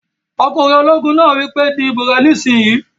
Ọkùnrin ológun náà wí pé "di ìbò rẹ nísìínyi!"